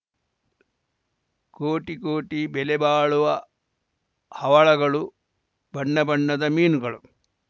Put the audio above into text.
ಕೋಟಿ ಕೋಟಿ ಬೆಲೆ ಬಾಳುವ ಹವಳಗಳು ಬಣ್ಣ ಬಣ್ಣದ ಮೀನುಗಳು